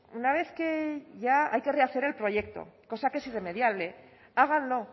una vez que ya hay que rehacer el proyecto cosa que es irremediable háganlo